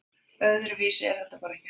Öðruvísi er þetta bara ekki hægt